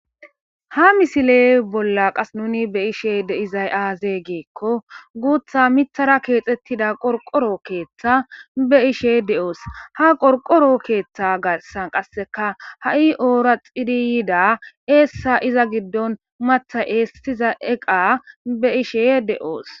Ha misiley bolla qas nuni be ishe deizay aaze geekko guutha mithara keexettida qorqoro keeththa be ishe de7oos ha qorqoro keeththa gassan qasseka ha7i oora xiriyida eessa iza giddon matha eestiza eqa be ishe de7oos